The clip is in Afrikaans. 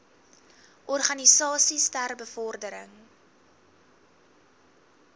organisasies ter bevordering